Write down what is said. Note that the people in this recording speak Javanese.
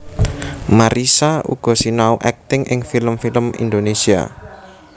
Marissa uga sinau akting ing film film Indonésia